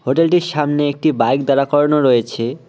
হোটেলটির সামনে একটি বাইক দাঁড়া করানো রয়েছে।